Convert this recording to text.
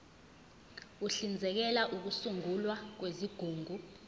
uhlinzekela ukusungulwa kwezigungu